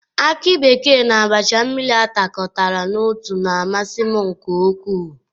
Akị bekee na abacha mmiri atakọtara n'otu na-amasị m nke ukwu.